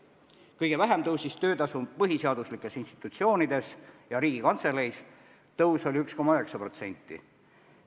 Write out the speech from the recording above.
Kõige vähem tõusis töötasu põhiseaduslikes institutsioonides ja Riigikantseleis: see tõus oli 1,9%.